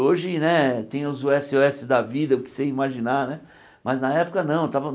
Hoje né tem os ésse ó ésse da vida, o que você imaginar né, mas na época não. Tava